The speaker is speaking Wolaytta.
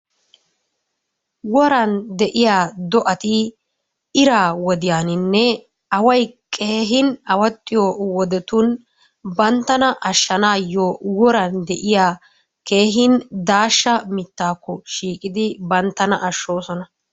Woran de'iya do'ati iraa wodiyaninne away keehin awaxxiyo wodetun banttana ashshanaayyo woran de'iya keehin daashsha mittaakko shiiqidi banttana ashshoosona.